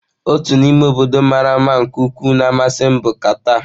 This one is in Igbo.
Otu n'ime obodo mara mma nke ukwuu na-amasị m bụ kata.